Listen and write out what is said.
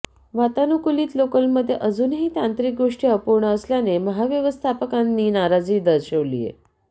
वातानुकूलित लोकलमध्ये अजूनही तांत्रिक गोष्टी अपूर्ण असल्याने महाव्यवस्थापकांनी नाराजी दर्शविलीय